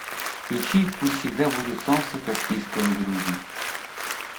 включи пусть всегда будет солнце каспийского груза